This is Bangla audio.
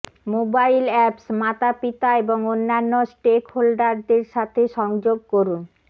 মোবাইল অ্যাপস মাতাপিতা এবং অন্যান্য স্টেকহোল্ডারদের সাথে সংযোগ করুন